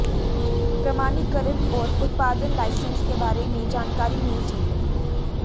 प्रमाणीकरण और उत्पादन लाइसेंस के बारे में जानकारी होनी चाहिए